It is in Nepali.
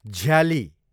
झ्याली